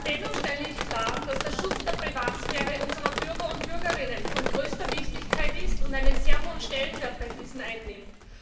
Dennoch stelle ich klar, dass der Schutz der Privatsphäre unserer Bürgerinnen und Bürger von größter Wichtigkeit ist und einen sehr hohen Stellenwert bei diesen einnimmt.